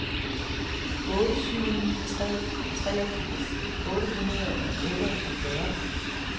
otte syv ni tre treogfirs otte hundrede og otteogfyrre